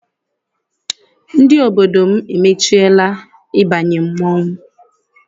Ndị obodo m emechiela ịbanye mmọnwụ